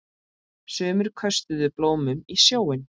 Sumir köstuðu blómum í sjóinn.